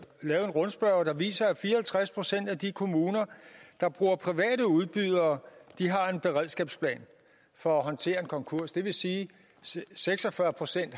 lavet en rundspørge der viser at fire og halvtreds procent af de kommuner der bruger private udbydere har en beredskabsplan for at håndtere en konkurs det vil sige at seks og fyrre procent